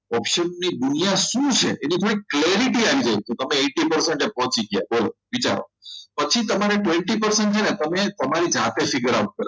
option ની દુનિયા શું છે એની કોઈ clarity અંગે તો તમે eighty percent પહોંચી ગયા બોલો વિચારો પછી તમારે twenty percent પસંદ છે ને તમને સમય જાતે શીખવાડશે